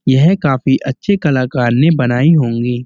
यह काफी अच्छे कलाकार ने बनाई होंगी।